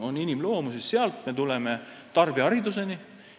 Sealt me jõuame tarbijahariduseni.